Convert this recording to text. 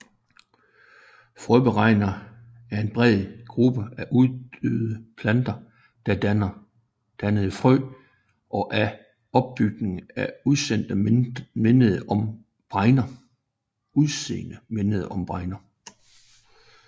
Frøbregner er en bred gruppe af uddøde planter der dannede frø og af opbygning og udseende mindede om bregner